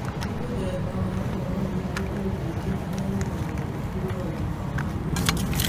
Nĩ mũthemba wa ũhoro ũrĩkũ ũngĩkĩra he rũgano rwaku rwa ũgima wa mwĩrĩ.